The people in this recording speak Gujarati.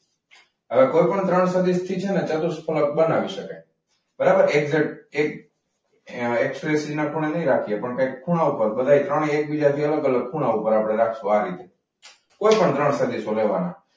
હવે કોઈ પણ ત્રણ સદિશથી છે ને ચતુષ્ફલક બનાવી શકાય બરાબર એક. ખૂણે કઈ રાખીએ પણ કંઈક એ ખૂણા ઉપર બધે ત્રણે એકબીજાથી અલગ અલગ ખૂણા ઉપર આપણે રાખશું. આ રીતે, ટોટલ ત્રણ સદીશો લેવાના.